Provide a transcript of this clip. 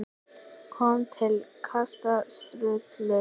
kom til kasta Sturlu.